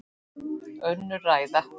Önnur ræða.